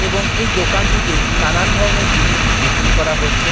এবং এই দোকানটিতে নানান ধরনের জিনিস বিক্রি করা হচ্ছে।